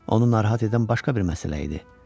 Onu narahat edən başqa bir məsələ idi.